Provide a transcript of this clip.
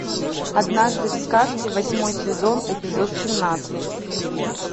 однажды в сказке восьмой сезон эпизод семнадцать